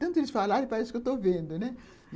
Tanto eles falarem, parece que eu estou vendo, né?